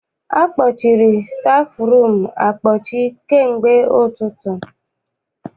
Akpọchiri stafụrum akpọchi kamgbe ụtụtụ.